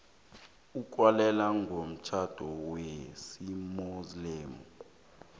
ukwalelwa komtjhado wesimuslimu